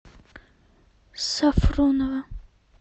сафронова